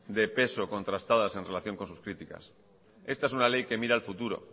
de peso contrastadas en relación con sus críticas esta es una ley que mira al futuro